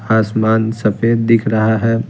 आसमान सफेद दिख रहा है।